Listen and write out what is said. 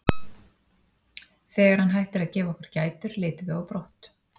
Þegar hann hættir að gefa okkur gætur leitum við á brott.